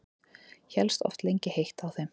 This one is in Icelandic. Hélst oft lengi heitt á þeim.